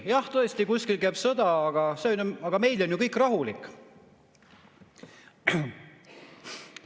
Jah, tõesti, kuskil käib sõda, aga meil on ju kõik rahulik.